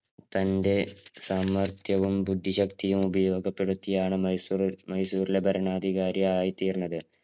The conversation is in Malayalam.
തന്‍റെ സാമര്‍ത്ഥ്യവും. ബുദ്ധിശക്തിയും ഉപയോഗപ്പെടുത്തിയാണ് മൈസൂറ് മൈസൂരിലെ ഭരണാധികാരിയായി തീര്‍ന്നത്.